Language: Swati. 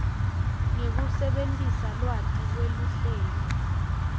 ngekusebentisa lwati lweluhlelo